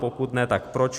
Pokud ne, tak proč?